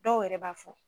Dɔw yɛrɛ b'a fɔ